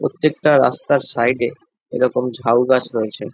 প্রত্যেকটা রাস্তার সাইড -এ এরম ঝাউ গাছ রয়েছে।